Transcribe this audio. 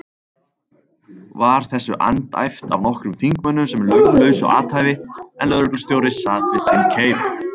Var þessu andæft af nokkrum þingmönnum sem löglausu athæfi, en lögreglustjóri sat við sinn keip.